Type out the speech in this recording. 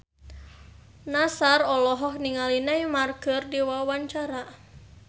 Nassar olohok ningali Neymar keur diwawancara